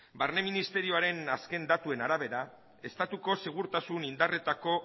barne ministerioaren azken datuen arabera estatuko segurtasun indarretako